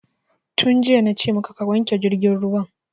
Tun jiya na ce maka ka wanke jirgin ruwan!